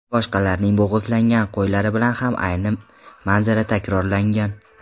Boshqalarning bo‘g‘izlangan qo‘ylari bilan ham ayni manzara takrorlangan.